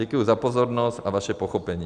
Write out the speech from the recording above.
Děkuji za pozornost a vaše pochopení.